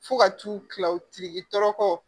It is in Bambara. Fo ka t'u kila o tigi tɔɔrɔ kɔ